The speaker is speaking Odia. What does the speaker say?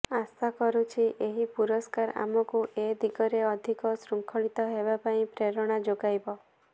ଆଶା କରୁଛି ଏହି ପୁରସ୍କାର ଆମକୁ ଏ ଦିଗରେ ଅଧିକ ଶୃଙ୍ଖଳିତ ହେବା ପାଇଁ ପ୍ରେରଣା ଯୋଗାଇବ